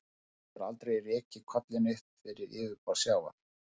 Ísland hefur aldrei rekið kollinn upp fyrir yfirborð sjávar.